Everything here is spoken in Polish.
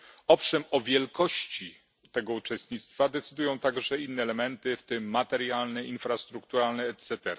Owszem, o wielkości tego uczestnictwa decydują także inne elementy, w tym materialne, infrastrukturalne etc.,